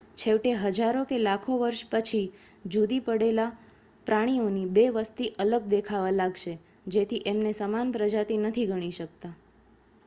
છેવટે હજારો કે લાખો વર્ષ પછી જુદી પડેલા પ્રાણીઓની બે વસ્તી અલગ દેખાવા લાગશે જેથી એમને સમાન પ્રજાતિ નથી ગણી શકતા